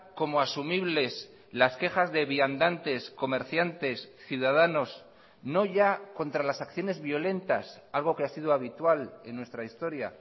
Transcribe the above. como asumibles las quejas de viandantes comerciantes ciudadanos no ya contra las acciones violentas algo que ha sido habitual en nuestra historia